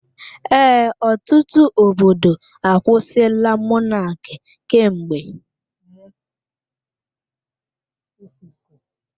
Ee, ọtụtụ obodo akwusila Mọnaki kemgbe.